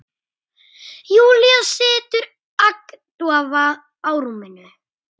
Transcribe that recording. Júlía situr agndofa á rúminu.